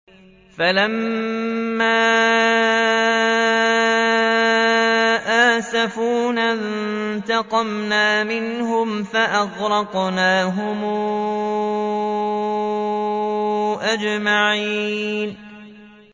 فَلَمَّا آسَفُونَا انتَقَمْنَا مِنْهُمْ فَأَغْرَقْنَاهُمْ أَجْمَعِينَ